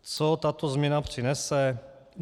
Co tato změna přinese?